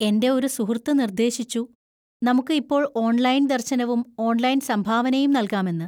എന്റെ ഒരു സുഹൃത്ത് നിർദ്ദേശിച്ചു, നമുക്ക് ഇപ്പോൾ ഓൺലൈൻ ദർശനവും ഓൺലൈൻ സംഭാവനയും നൽകാമെന്ന്.